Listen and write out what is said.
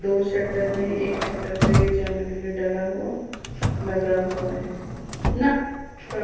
दो शटर है एक शटर पे चैनल गेट डला हो- लगा हुआ है।